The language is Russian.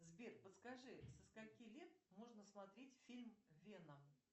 сбер подскажи со скольки лет можно смотреть фильм вена